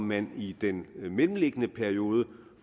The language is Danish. man i den mellemliggende periode